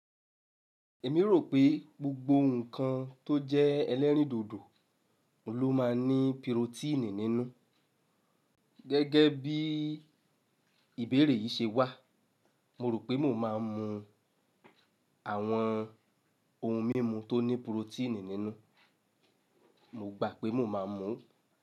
Èmi rò pé gbogbo ǹkan tó jẹ́ ẹlẹ́rìndòdò ló máa ń ní pirotíìnì nínú. Gẹ́gẹ́ bí ìbéèrè yìí ṣe wà, mo rò pé mo máa ń mu àwọn ohun mímu tó ní pirotíìnì nínú. Mo gbà pé mo máa ń mu.